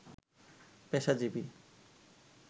পেশাজীবী